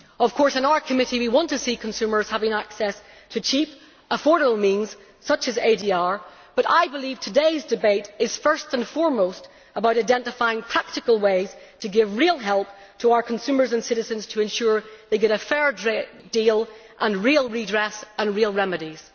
Of course in our committee we want consumers to have access to cheap, affordable means, such as ADR, but I believe today's debate is first and foremost about identifying practical ways to give real help to our consumers and citizens, to ensure they get a fair deal, real redress and real remedies.